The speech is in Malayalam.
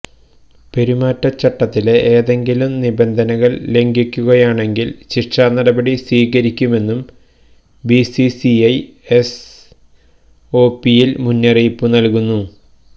പെരുമാറ്റച്ചട്ടത്തിലെ ഏതെങ്കിലും നിബന്ധകള് ലംഘിക്കുകയാണെങ്കില് ശിക്ഷാനടപടി സ്വീകരിക്കുമെന്നും ബിസിസിഐ എസ്ഒപിയില് മുന്നറിയിപ്പ് നല്കുന്നു